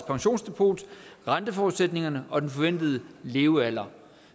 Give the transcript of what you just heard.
pensionsdepot renteforudsætningerne og den forventede levealder